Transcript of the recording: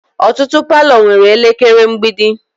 Ọtụtụ palọ nwere elekere mgbidi